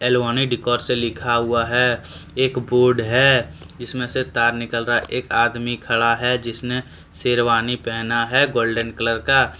Alvin decor लिखा हुआ है एक बोर्ड है जिसमें से तार निकल रहा है एक आदमी खड़ा है जिसने शेरवानी पहना है गोल्डन कलर का।